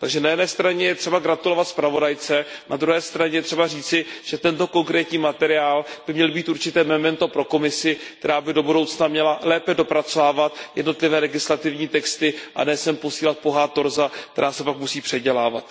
Takže na jedné straně je třeba gratulovat zpravodajce, na druhé straně je třeba říci, že tento konkrétní materiál by měl být určité memento pro Komisi, která by do budoucna měla lépe dopracovávat jednotlivé legislativní texty a ne sem posílat pouhá torza, která se pak musí předělávat.